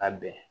Ka bɛn